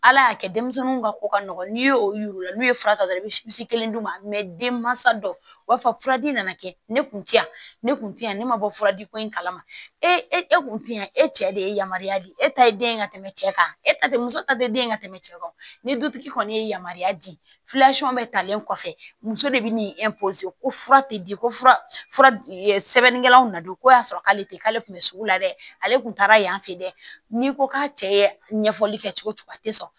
Ala y'a kɛ denmisɛnninw ka ko ka nɔgɔ n'i y'o yir'u la n'u ye fura ta dɔrɔn i bɛ si kelen d'u ma denmansa dɔ b'a fɔ furadi nana kɛ ne kun ti yan ne kun tɛ yan ne ma bɔ fura di ko in kalama e kun tɛ yan e cɛ de ye yamaruya di e ta ye den ka tɛmɛ cɛ kan e ta tɛ muso ta tɛ den ka tɛmɛ cɛ kan ni dutigi kɔni ye yamaruya di bɛ talen kɔfɛ muso de bɛ ni ko fura tɛ di ko fura sɛbɛnnikɛla na don ko y'a sɔrɔ k'ale tɛ k'ale kun bɛ sugu la dɛ ale tun taara yan fɛ yen dɛ n'i ko k'a cɛ ye ɲɛfɔli kɛ cogo o cogo a tɛ sɔn